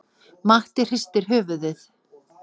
Matti hristir höfuðið.